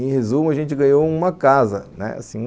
Em resumo, a gente ganhou uma casa, né, assim